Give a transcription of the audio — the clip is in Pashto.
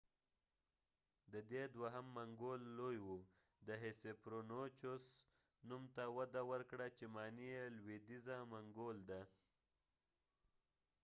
د دې دوهم منګول لوی وه د هیسپرونیچوس نوم ته وده ورکړه چې معنی یې لویدیځه منګول ده